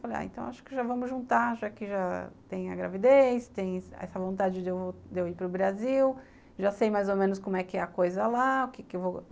Falei, ah, então acho que já vamos juntar, já que já tenho a gravidez, tem essa vontade de eu ir para o Brasil, já sei mais ou menos como é que é a coisa lá. O que que eu vou